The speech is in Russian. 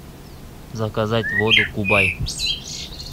заказать воду кубай